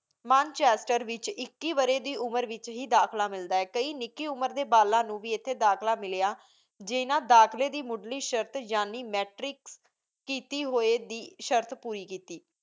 moon ਚਰਚੇ ਵੇਚ ਏਕੀ ਉਮੇਰ ਡੀਵੇਚ ਦਾਖਲਾ ਮਿਲਦਾ ਆਯ ਕਈ ਨਿਕੀ ਉਮੇਰ ਡੀ ਬਾਲਣ ਨੂ ਵੇ ਏਥੀ ਦਾਖਲਾ ਮਿਲਯਾ ਜੇਰਨਾ ਦਾਖਲੀ ਦੀ ਮੁਦ੍ਰਿ ਸ਼ਰਤ ਜਾਣੀ Matric ਕੀਤੀ ਹੂਯ ਦੀ ਸ਼ਰਤ ਪੂਰੀ ਕੀਤੀ